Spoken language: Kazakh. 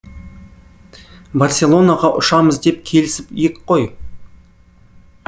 барселонаға ұшамыз деп келісіп ек қой